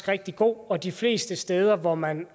rigtig god og de fleste steder hvor man